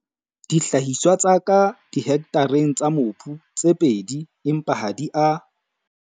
Dihlahiswa tsa ka dihektareng tsa mobu tse pedi empa ha di a.